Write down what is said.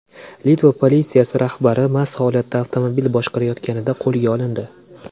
Litva politsiyasi rahbari mast holatda avtomobil boshqarayotganida qo‘lga olindi.